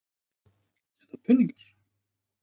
Eða peningar?